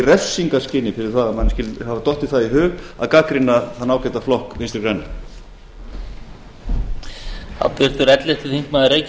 refsingarskyni fyrir að manni skyldi hafa dottið það í hug að gagnrýna þann ágæta flokk vinstri græna